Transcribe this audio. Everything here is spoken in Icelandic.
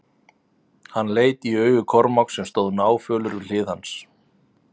Hann leit í augu Kormáks sem stóð náfölur við hlið hans.